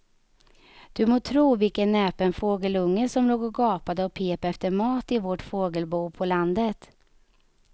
Du må tro vilken näpen fågelunge som låg och gapade och pep efter mat i vårt fågelbo på landet.